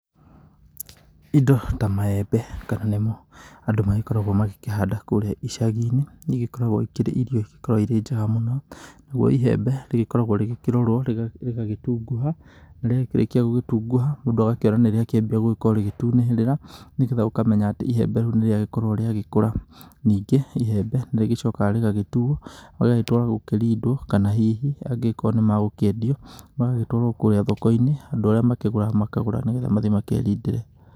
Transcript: Indo ta maembe kana nĩ mo andũ magĩkoragwo magĩkĩhanda kũrĩa icagi-inĩ nĩ igĩkoragwo ikĩrĩ irio ikĩrĩ njega mũno. Naguo iembe rĩgikoragwo rĩgĩkĩrorwo rĩgagĩtungũha na rĩakĩrĩkia gũgĩtunguha mũndũ agakĩona nĩ rĩakĩambia gũkorwo rĩgĩtunĩhĩrira, nĩgetha ũkamenya atĩ ihembe rĩu nĩ rĩagĩkorwo rĩgĩkũra. Nĩngĩ ihembe nĩ rĩgĩcokaga rĩgagĩtuo rĩgagĩtwarwo gũkĩrindwo kana hihi angĩgĩkorwo nĩ magũkĩendio magagĩtwarwo kũrĩa thoko-inĩ, andũ arĩa makĩgũraga makagũra, nĩgetha mathiĩ makerindĩre.